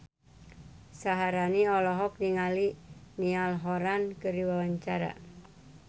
Syaharani olohok ningali Niall Horran keur diwawancara